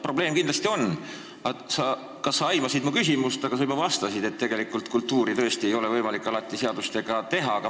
Probleem kindlasti on, aga ma ei tea, kas sa aimasid mu küsimust, kui sa juba vastasid, et tegelikult kultuuri ei ole võimalik alati seadustega muuta, parandada.